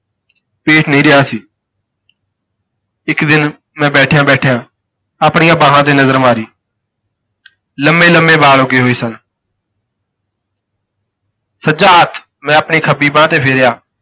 ਪੇਟ ਨਹੀਂ ਰਿਹਾ ਸੀ। ਇੱਕ ਦਿਨ ਮੈਂ ਬੈਠਿਆਂ ਬੈਠਿਆਂ ਆਪਣੀਆਂ ਬਾਹਾਂ ਤੇ ਨਜ਼ਰ ਮਾਰੀ ਲੰਮੇ ਲੰਮੇ ਬਾਲ ਉੱਗੇ ਹੋਏ ਸਨ ਸੱਜਾ ਹੱਥ ਮੈਂ ਆਪਣੀ ਖੱਬੀ ਬਾਂਹ ਤੇ ਫੇਰਿਆ,